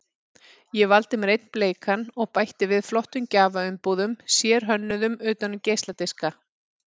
Ég valdi mér einn bleikan og bætti við flottum gjafaumbúðum, sérhönnuðum utan um geisladiska.